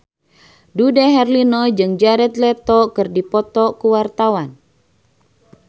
Dude Herlino jeung Jared Leto keur dipoto ku wartawan